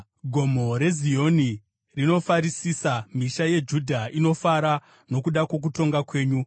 Gomo reZioni rinofarisisa, misha yeJudha inofara nokuda kwokutonga kwenyu.